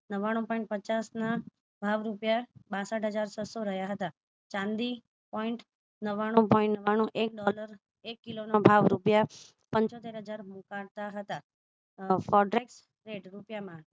નવાણું point પચાસ ના ભાવ રૂપિયા બાસઠ હજાર ચસો રહ્યા હતા ચાંદી point નવાણું point નવાણું એક ડોલર એક કિલો નો ભાવ રૂપિયા પંચોતેર હજાર મુકતા હતા fraudulent રૂપિયા માં